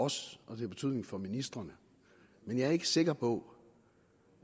os og det har betydning for ministrene men jeg er ikke sikker på